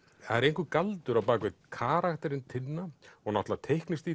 það er einhver galdur á bak við karakterinn Tinna og náttúrulega